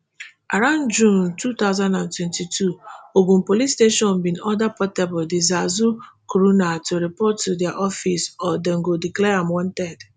around june two thousand and twenty-two ogun state police bin order portable di zazu crooner to report to dia office or dem go declare am wanted